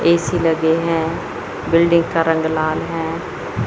AC लगे है building का रंग लाल है।